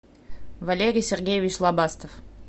валерий сергеевич лобастов